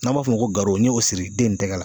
N'an b'a fɔ o ma ko garo n ye o siri den tɛgɛ la.